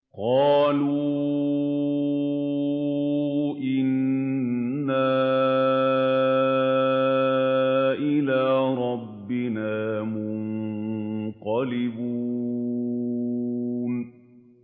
قَالُوا إِنَّا إِلَىٰ رَبِّنَا مُنقَلِبُونَ